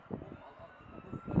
Allah, Allah.